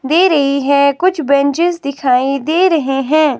दे रही है कुछ बेंचेस दिखाई दे रहे हैं।